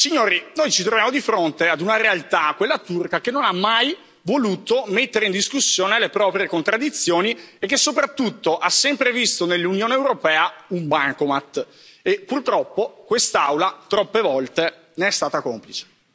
Signori, noi ci troviamo di fronte ad una realtà, quella turca, che non ha mai voluto mettere in discussione le proprie contraddizioni e che, soprattutto, ha sempre visto nell'Unione europea un bancomat e, purtroppo, quest'Aula troppe volte ne è stata complice.